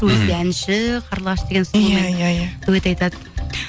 өзі де әнші қарлығаш деген иә иә дуэт айтады